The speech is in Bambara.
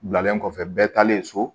Bilalen kɔfɛ bɛɛ taalen so